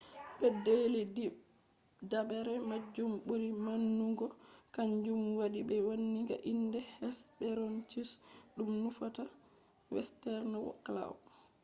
pedeli didabre majum buri maunugo kanjum wadi be wanniga inde hesperonychus dum nufata western claw